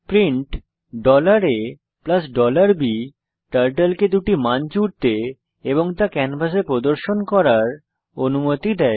print a b turtle কে দুটি মান জুড়তে এবং তা ক্যানভাসে প্রদর্শন করার অনুমতি দেয়